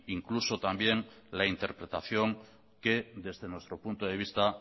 incluso también la interpretación que desde nuestro punto de vista